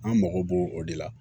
An mago b'o o de la